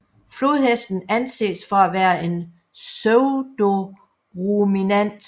Flodhesten anses for at være en pseudoruminant